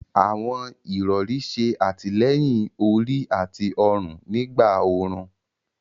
Àwọn irọ̀rì ṣè àtílẹ̀yìn orí àti ọ̀run nígbà orún.